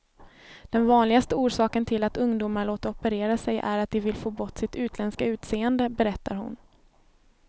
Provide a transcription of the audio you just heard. Den vanligaste orsaken till att ungdomar låter operera sig är att de vill få bort sitt utländska utseende, berättar hon.